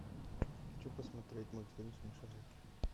хочу посмотреть мультфильм смешарики